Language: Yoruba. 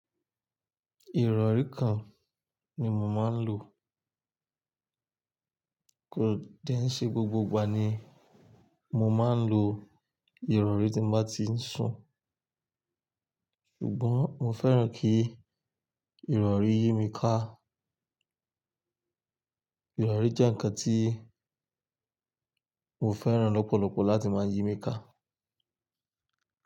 Ìrọ̀rí kan ni mo máa ń lò. Kò dén ṣe gbogbo ìgbà ni mo máa ń lo ìrọ̀rí tí mo bá ti ń sùn. Ṣùgbọ́n mo fẹ́ràn kí ìrọ̀rí yí mi ká. Ìrọ̀rí jẹ́ ǹkan tí mo fẹ́ràn lọ́pọ̀lọpọ̀ láti máa yí mi ká.